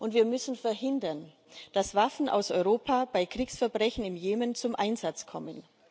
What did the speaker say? Wir müssen verhindern, dass Waffen aus Europa bei Kriegsverbrechen im Jemen zum Einsatz kommen.